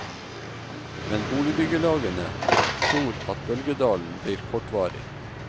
Men boligbyggelagene tror at bølgedalen blir kortvarig.